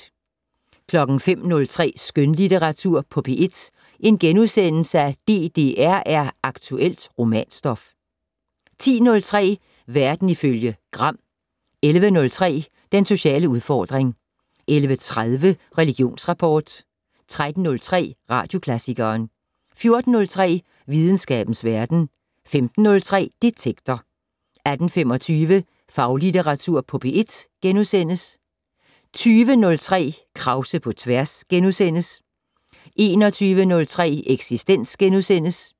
05:03: Skønlitteratur på P1 - DDR er aktuelt romanstof * 10:03: Verden ifølge Gram 11:03: Den sociale udfordring 11:30: Religionsrapport 13:03: Radioklassikeren 14:03: Videnskabens Verden 15:03: Detektor 18:25: Faglitteratur på P1 * 20:03: Krause på tværs * 21:03: Eksistens *